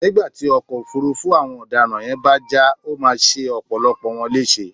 nígbà tí ọkọ̀ ọ̀fuurú àwọn ọ̀daràn yẹn bá já, ó máa ṣe ọ̀pọ̀lọpọ̀ wọn léṣe